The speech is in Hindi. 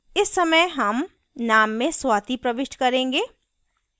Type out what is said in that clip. इस समय हम name में swati प्रविष्ट करेंगे